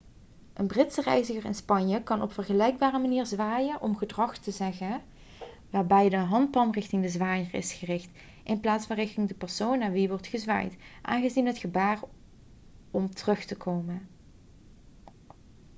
een britse reiziger in spanje kan op vergelijkbare manier zwaaien om gedag te zeggen waarbij de handpalm richting de zwaaier is gericht in plaats van richting de persoon naar wie wordt gezwaaid aanzien voor het gebaar om terug te komen